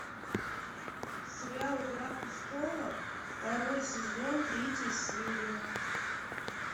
сериал игра престолов второй сезон третья серия